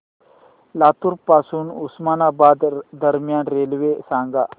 लातूर पासून उस्मानाबाद दरम्यान रेल्वे सांगा